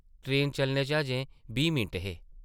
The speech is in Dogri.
ट्रेन चलने च अजें बीह् मिंट हे ।